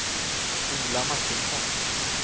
Ola Martinsson